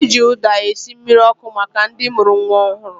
Eji ụda esi ji mmiri ọkụ maka ndị mụrụ nwa ọhụrụ